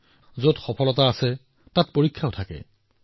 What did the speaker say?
হয় যত সফলতা হয় তাত পৰীক্ষাও আছে